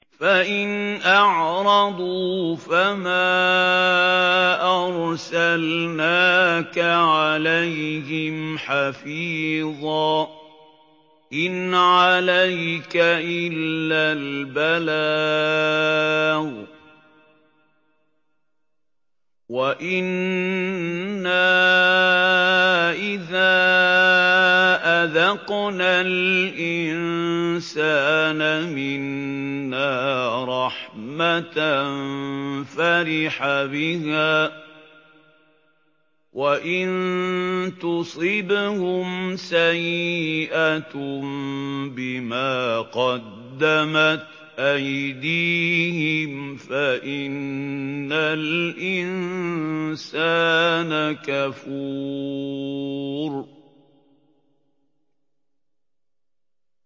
فَإِنْ أَعْرَضُوا فَمَا أَرْسَلْنَاكَ عَلَيْهِمْ حَفِيظًا ۖ إِنْ عَلَيْكَ إِلَّا الْبَلَاغُ ۗ وَإِنَّا إِذَا أَذَقْنَا الْإِنسَانَ مِنَّا رَحْمَةً فَرِحَ بِهَا ۖ وَإِن تُصِبْهُمْ سَيِّئَةٌ بِمَا قَدَّمَتْ أَيْدِيهِمْ فَإِنَّ الْإِنسَانَ كَفُورٌ